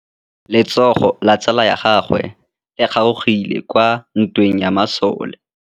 Letsôgô la tsala ya gagwe le kgaogile kwa ntweng ya masole.